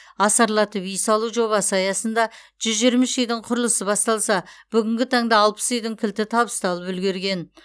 асарлатып үй салу жобасы аясында жүз жиырма үш үйдің құрылысы басталса бүгінгі таңда алпыс үйдің кілті табысталып үлгерген